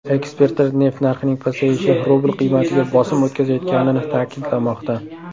Ekspertlar neft narxining pasayishi rubl qiymatiga bosim o‘tkazayotganini ta’kidlamoqda.